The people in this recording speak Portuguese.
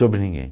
Sobre ninguém.